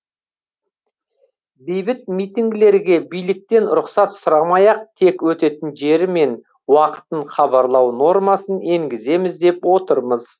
бейбіт митингілерге биліктен рұқсат сұрамай ақ тек өтетін жері мен уақытын хабарлау нормасын енгіземіз деп отырмыз